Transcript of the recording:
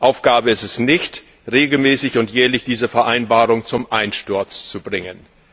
Aufgabe ist es nicht, regelmäßig und jährlich diese Vereinbarung zum Einsturz zu bringen.